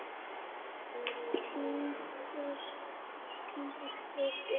Tindur gnæfir yfir.